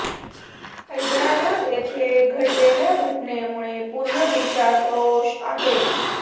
हैदराबाद येथे घडलेल्या घटनेमुळे पूर्ण देशात रोष आहे